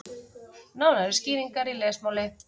Nánari skýringar í lesmáli.